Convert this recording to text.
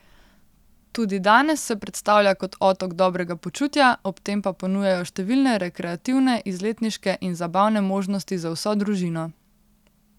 Tudi danes se predstavlja kot otok dobrega počutja, ob tem pa ponujajo številne rekreativne, izletniške in zabavne možnosti za vso družino.